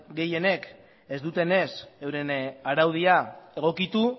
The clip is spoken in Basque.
gehienek ez dutenez euren araudia egokitu